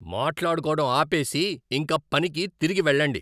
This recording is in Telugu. మాట్లాడుకోవటం ఆపేసి ఇంక పనికి తిరిగి వెళ్ళండి.